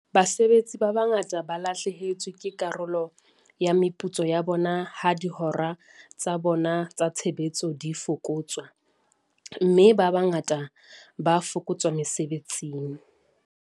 Basebetsi ba bangata ba lahlehetswe ke karolo ya meputso ya bona ha dihora tsa bona tsa tshebetso di fokotswa, mme ba bangata ba fokotswa mesebetsing.